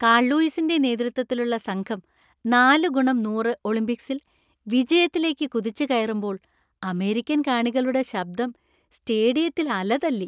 Call ലൂയിസിന്‍റെ നേതൃത്വത്തിലുള്ള സംഘം നാല് ഗുണം നൂറ് ഒളിമ്പിക്സിൽ വിജയത്തിലേക്ക് കുതിച്ചുകയറുമ്പോൾ അമേരിക്കൻ കാണികളുടെ ശബ്ദം സ്റ്റേഡിയത്തിൽ അല തല്ലി.